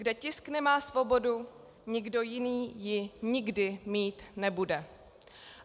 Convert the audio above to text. Kde tisk nemá svobodu, nikdo jiný ji nikdy mít nebude."